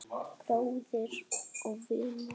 Bróðir og vinur.